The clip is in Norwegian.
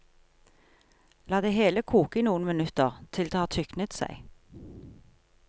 La det hele koke i noen minutter, til det har tyknet seg.